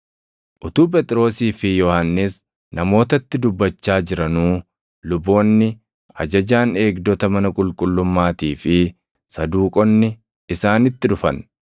Utuu Phexrosii fi Yohannis namootatti dubbachaa jiranuu, luboonni, ajajaan eegdota mana qulqullummaatii fi Saduuqonni isaanitti dhufan.